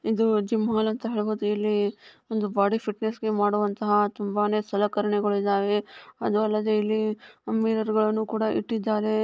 ಇದು ಜಿಮ್ ಮಾಡುವಂತಹ ಒಂದು ಬಾಡಿ ಫಿಟ್ ಮಾಡುವಂತಹ ತುಂಬಾನೇ ಸಲಕರಣೆಗಳು ಇಟ್ಟಿದ್ದಾರೆ ಹಾಗೆ ಇಲ್ಲಿ ಮಿರರ್ ಗಳನ್ನು ಕೂಡ ಇಟ್ಟಿದ್ದಾರೆ